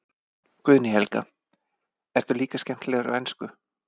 Guðný Helga: Ertu líka skemmtilegur á ensku?